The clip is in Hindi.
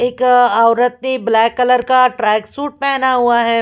एक औरत ने ब्लैक कलर का ट्रैक-सूट पहना हुआ हैं।